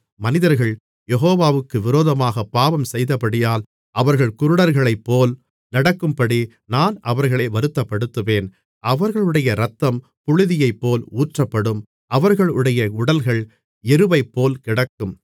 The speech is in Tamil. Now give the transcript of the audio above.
மனிதர்கள் யெகோவாவுக்கு விரோதமாகப் பாவம்செய்தபடியால் அவர்கள் குருடர்களைப்போல் நடக்கும்படி நான் அவர்களை வருத்தப்படுத்துவேன் அவர்களுடைய இரத்தம் புழுதியைப்போல் ஊற்றப்படும் அவர்களுடைய உடல்கள் எருவைப்போல் கிடக்கும்